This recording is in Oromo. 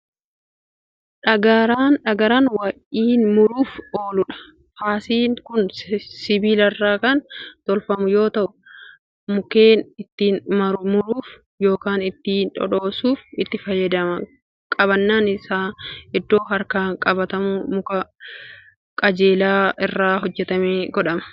dhagaraan waa'iin muruuf ooludha. faasiin Kuni sibiilarraa Kan tolfamu yoo ta'u mukkeen ittiin muruuf yookaan ittiin dhodhoosuuf itti fayyadamna qabaannaan Isaa iddoon harkaan qabatamu muka qajeelaa irraa itti godhama. lafa biyyee ta'erratti kaawwamee jira